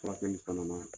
Furakɛli fana na